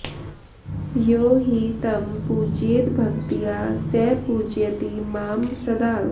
यो हि तं पूजयेद्भक्त्या स पूजयति मां सदा